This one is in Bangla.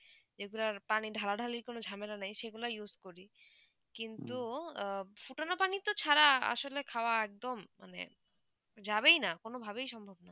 যে গুলু পানি ঢালা ঢালী কোনো ঝামেলা নেই সেই গুলু use করি কিন্তু ফুটোনা পানি ছাড়া আসলে খৰা একদম যাবে হয় না কোনো ভাবে সম্ভব নেই